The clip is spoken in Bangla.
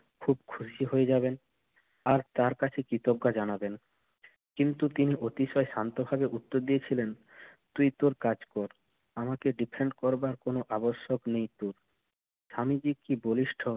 খুব খুশি হয়ে যাবেন। আর তার কাছে কৃতজ্ঞতা জানাবেন। কিন্তু তিনি অতিশয় শান্তভাবে উত্তর দিয়েছিলেন, তুই তোর কাজ কর। আমাকে defend করবার কোনো আবশ্যক নেই তোর। স্বামীজি কি বলিষ্ঠ